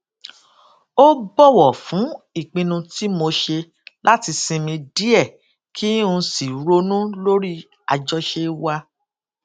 ó bòwò fún ìpinnu tí mo ṣe láti sinmi díè kí n sì ronú lórí àjọṣe wa